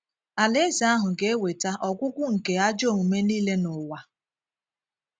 Alaeze ahụ ga - ewèta“ ọgwụ́gwụ́ ” nke ajọ omume niile n’ụwa